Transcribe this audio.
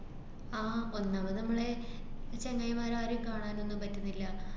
ആഹ് ഒന്നാമത് നമ്മളെ ചെങ്ങായിമാരാരേം കാണാനൊന്നും പറ്റുന്നില്ല.